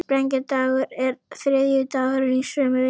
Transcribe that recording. Sprengidagur er þriðjudagurinn í sömu viku.